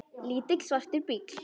Lítill, svartur bíll.